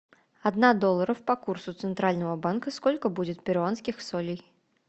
одна долларов по курсу центрального банка сколько будет перуанских солей